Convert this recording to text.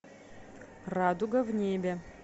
радуга в небе